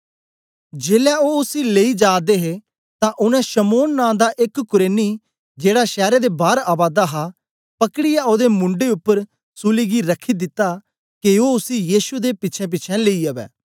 जेलै ओ उसी लेई जा दे हे तां उनै शमौन नां दा एक कुरेनी जेड़ा शैर बार आवा दा हा पकड़ीयै ओदे मूंढे उपर सूली गी रखी दिता के ओ उसी यीशु दे पिछेंपिछें लेई अवै